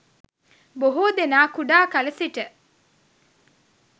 බොහෝ දෙනා කුඩා කල සිට